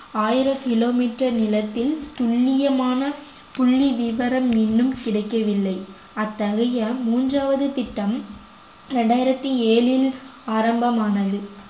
ஆயிரம் kilometer நிலத்தில் துல்லியமான புள்ளிவிவரம் இன்னும் கிடைக்கவில்லை அத்தகைய மூன்றாவது திட்டம் இரண்டாயிரத்தி ஏழில் ஆரம்பமானது